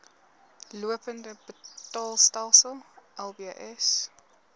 lopende betaalstelsel lbs